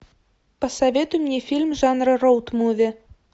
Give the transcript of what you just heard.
посоветуй мне фильм жанра роуд муви